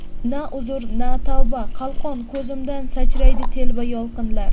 Na uzr, na tavba qalqon, Ko‘zimdan sachraydi telba yolqinlar.